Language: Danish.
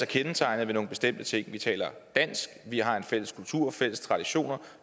kendetegnet ved nogle bestemte ting vi taler dansk vi har en fælles kultur fælles traditioner